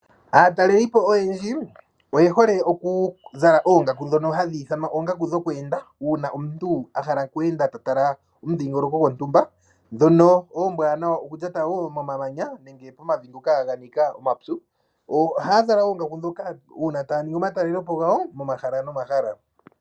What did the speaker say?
Aatalelipo oyendji oye hole okuzala oongaaku ndhono hadhi ithanwa oongaku dhokweenda , uuna omuntu a hala okweenda ta tala omushingoloko gontumba ndhono ombwanawa okulyata wo momamanya nenge momavi ngoka ga nika omapyu. Ohaya zala oongaku ndhoka uuna taya ningi omatalelepo gawo momahala nomahala.